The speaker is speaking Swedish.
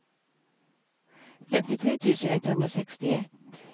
femtiotre tusen etthundrasextioett